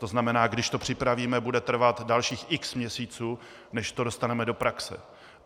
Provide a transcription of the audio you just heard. To znamená, když to připravíme, bude trvat dalších x měsíců, než to dostaneme do praxe.